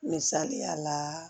Misaliya la